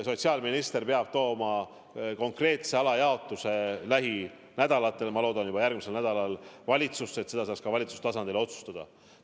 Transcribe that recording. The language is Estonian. Sotsiaalminister peab esitama konkreetse alajaotuse lähinädalatel – ma loodan, et ta teeb seda juba järgmisel nädalal – valitsusse, et selle saaks ka valitsuse tasandil otsustada.